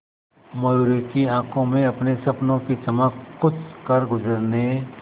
मयूरी की आंखों में अपने सपनों की चमक कुछ करगुजरने